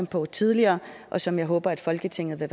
på tidligere og som jeg håber at folketinget vil